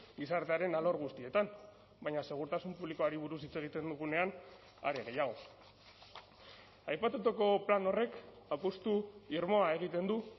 gizartearen alor guztietan baina segurtasun publikoari buruz hitz egiten dugunean are gehiago aipatutako plan horrek apustu irmoa egiten du